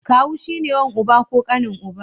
Kawu shi ne wan uba ko ƙanin uba.